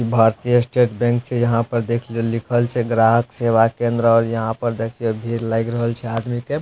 भारतीय State Bank छे यहाँ पर देख लि लिखल छे ग्राहक सेवा केंद्रऔर यहां पर देख ये भीड़ लायग रहल छे आदमी के।